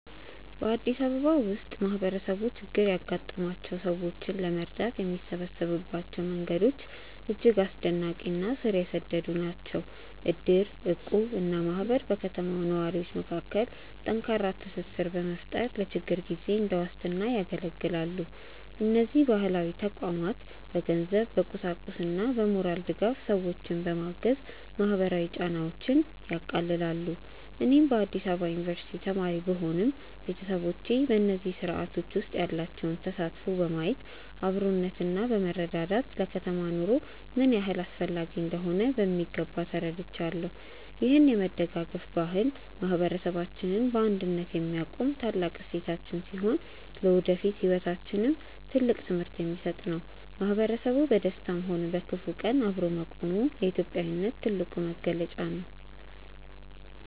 በአዲስ አበባ ውስጥ ማህበረሰቡ ችግር ያጋጠማቸውን ሰዎች ለመርዳት የሚሰበሰብባቸው መንገዶች እጅግ አስደናቂ እና ስር የሰደዱ ናቸው። እድር፣ እቁብ እና ማህበር በከተማው ነዋሪዎች መካከል ጠንካራ ትስስር በመፍጠር ለችግር ጊዜ እንደ ዋስትና ያገለግላሉ። እነዚህ ባህላዊ ተቋማት በገንዘብ፣ በቁሳቁስና በሞራል ድጋፍ ሰዎችን በማገዝ ማህበራዊ ጫናዎችን ያቃልላሉ። እኔም በአዲስ አበባ ዩኒቨርሲቲ ተማሪ ብሆንም፣ ቤተሰቦቼ በእነዚህ ስርአቶች ውስጥ ያላቸውን ተሳትፎ በማየት አብሮነትና መረዳዳት ለከተማ ኑሮ ምን ያህል አስፈላጊ እንደሆኑ በሚገባ ተረድቻለሁ። ይህ የመደጋገፍ ባህል ማህበረሰባችንን በአንድነት የሚያቆም ታላቅ እሴታችን ሲሆን፣ ለወደፊት ህይወታችንም ትልቅ ትምህርት የሚሰጥ ነው። ማህበረሰቡ በደስታም ሆነ በክፉ ቀን አብሮ መቆሙ የኢትዮጵያዊነት ትልቁ መገለጫ ነው።